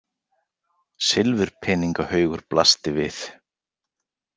Silfurpeningahaugur blasti við.